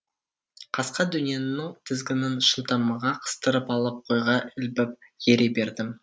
қасқа дөненнің тізгінін шынтағыма қыстырып алып қойға ілбіп ере бердім